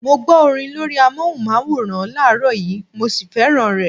Mo gbó orin lórí amóhùnmáwòrán láàrọ́ yìí, mo sì fẹ́ràn rẹ.